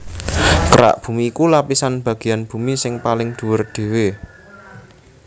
Kerak bumi iku lapisan bagéyan bumi sing paling dhuwur dhéwé